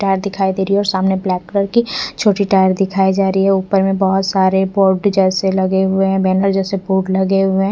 Tyre दिखाई दे रही है और सामने ब्लैक कलर की छोटी टायर दिखाई जा रही है उपर में बहोत सारे पोधे जैसे लगे हुए है बेनर जैसे फ़ूड लगे हुए है।